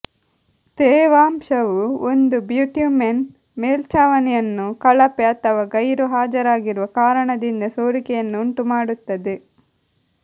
ತೇವಾಂಶವು ಒಂದು ಬಿಟ್ಯುಮೆನ್ ಮೇಲ್ಛಾವಣಿಯನ್ನು ಕಳಪೆ ಅಥವಾ ಗೈರುಹಾಜರಾಗಿರುವ ಕಾರಣದಿಂದ ಸೋರಿಕೆಯನ್ನು ಉಂಟುಮಾಡುತ್ತದೆ